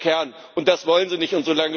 Das ist der Kern, und das wollen Sie